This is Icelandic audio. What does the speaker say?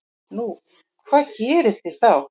Nú, hvað gerið þið þá?